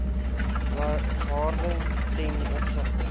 waarde ten opsigte